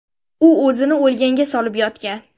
U o‘zini o‘lganga solib yotgan.